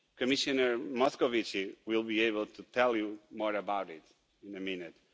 Commissioner Moscovici will be able to tell you more about that in a minute.